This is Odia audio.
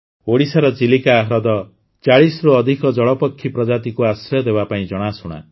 ଓଡ଼ିଶାର ଚିଲିକା ହ୍ରଦରୁ ୪୦ରୁ ଅଧିକ ଜଳପକ୍ଷୀ ପ୍ରଜାତିକୁ ଆଶ୍ରୟ ଦେବା ପାଇଁ ଜଣାଶୁଣା